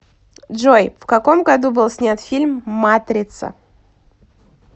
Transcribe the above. джой в каком году был снят фильм матрица